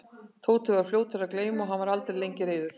Tóti var svo fljótur að gleyma og hann var aldrei lengi reiður.